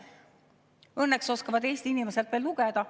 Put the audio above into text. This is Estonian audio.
Õnneks oskavad Eesti inimesed veel lugeda.